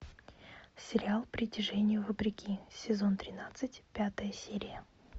сериал притяжение вопреки сезон тринадцать пятая серия